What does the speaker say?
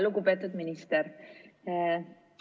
Lugupeetud minister!